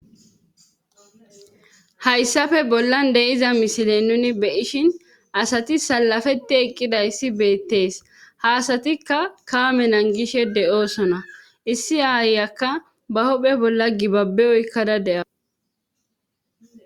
Hayssafe bollan deyiza misile nuni beyishin asati salafeti eqqidayssi beettees haasatikka kaame nangishe de'oosona issi aayakka ba hohphe bolla gibabe oykkada de'a.